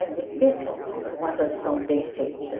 É difícil uma tradução bem feita.